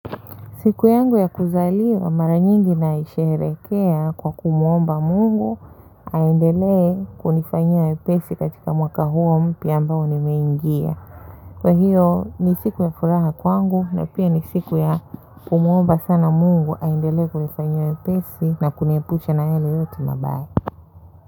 Siku yangu ya kuzaliwa mara nyingi naisherehekea kwa kumwomba mungu aendelee kunifanyia wepesi katika mwaka huo mpya ambao nimeingia. Kwa hiyo ni siku ya furaha kwangu na pia ni siku ya kumwomba sana mungu aendelee kunifanyia wepesi na kuniepusha na yale yote mabaya.